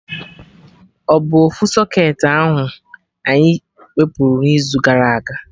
Ọ bụ ofu socketị ahụ anyị wepụrụ n'izu gara aga?